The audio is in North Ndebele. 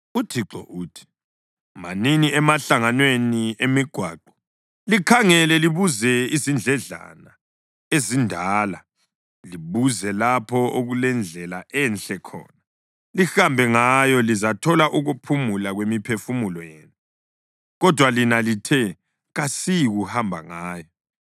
UThixo, uthi: “Manini emahlanganweni emigwaqo likhangele, libuze izindledlana ezindala, libuze lapho okulendlela enhle khona, lihambe ngayo, lizathola ukuphumula kwemiphefumulo yenu. Kodwa lina lithe, ‘Kasiyikuhamba ngayo.’